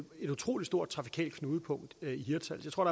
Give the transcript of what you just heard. utrolig stort trafikalt knudepunkt i hirtshals jeg tror